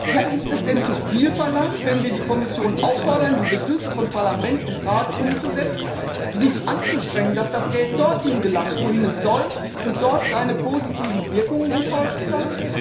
Ja, ist es denn zuviel verlangt, wenn wir die Kommission auffordern, die Beschlüsse von Parlament und Rat umzusetzen, sich anzustrengen, dass das Geld dorthin gelangt, wohin es soll, und dort seine positiven Wirkungen entfalten kann?